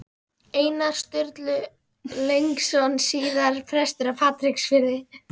Einar Sturlaugsson, síðar prestur á Patreksfirði.